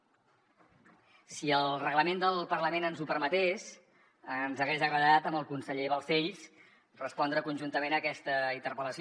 si el reglament del parlament ens ho permetés ens hagués agradat amb el conseller balcells respondre conjuntament a aquesta interpel·lació